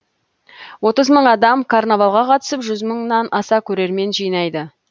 отыз мың адам карнавалға қатысып жүз мыңнан аса көрермен жинайды